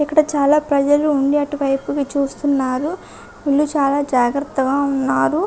ఇక్కడ చాలా ప్రజలు ఉండి అటు వైపుకి చూస్తున్నారు వీళ్ళు చాలా జాగ్రత్తగా ఉన్నారు.